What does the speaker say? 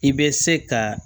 I bɛ se ka